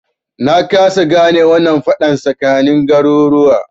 Na kasa gane wannan faɗan tsakanin garuruwa